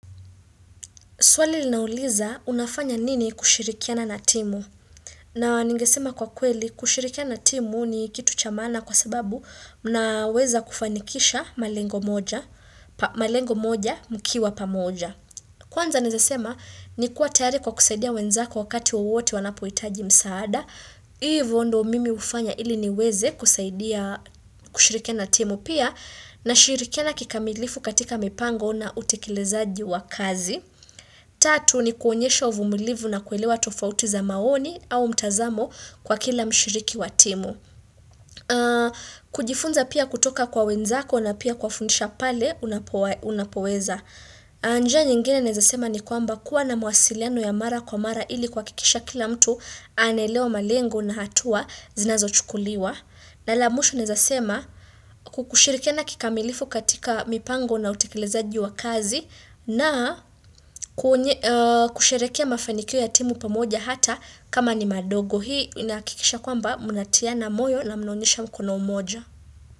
Swali linauliza unafanya nini kushirikiana na timu. Na ningesema kwa kweli kushirikiana na timu ni kitu cha maana kwa sababu mnaweza kufanikisha malengo moja mkiwa pamoja. Kwanza naeza sema ni kuwa tayari kwa kusaidia wenzako wakati wowote wanapohitaji msaada. Ivo ndo mimi hufanya ili niweze kusaidia kushirikiana na timu pia nashirikiana kikamilifu katika mipango na utekelezaji wa kazi. Tatu ni kuonyesha uvumilivu na kuelewa tofauti za maoni au mtazamo kwa kila mshiriki wa timu kujifunza pia kutoka kwa wenzako na pia kuwafundisha pale unapoweza na njia nyingine naeza sema ni kwamba kuwa na mawasiliano ya mara kwa mara ili kuhakikisha kila mtu anaelewa malengo na hatua zinazochukuliwa na la mwisho naeza sema kushirikiana kikamilifu katika mipango na utekelezaji wa kazi na kusherehekea mafanikio ya timu pamoja hata kama ni madogo. Hii inahakikisha kwamba mnatiana moyo na mnaonyesha mkono moja.